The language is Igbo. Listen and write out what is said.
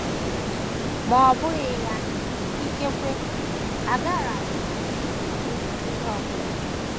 Ma ọ bụghị ya, ikekwe agaraghị m ekwu ihe ọ bụla.